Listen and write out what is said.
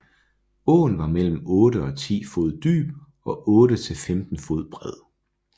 Åen var mellem 8 og 10 fod dyb og 8 til 15 fod bred